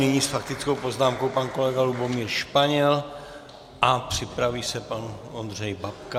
Nyní s faktickou poznámkou pan kolega Lubomír Španěl a připraví se pan Ondřej Babka.